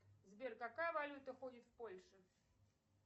сбер какая валюта ходит в польше